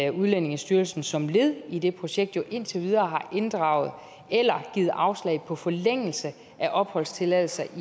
at udlændingestyrelsen som led i det projekt indtil videre har inddraget eller givet afslag på forlængelse af opholdstilladelser